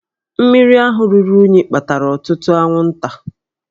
Mmiri ahụ ruru unyi kpatara ọtụtụ anwụnta